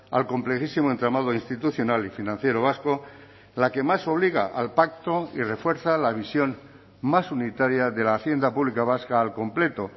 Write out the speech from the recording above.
al complejísimo entramado institucional y financiero vasco la que más obliga al pacto y refuerza la visión más unitaria de la hacienda pública vasca al completo